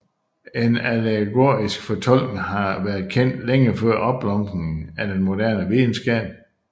En allegorisk fortolkning har været kendt længe før opblomstringen af den moderne videnskab